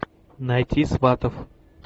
найти сватов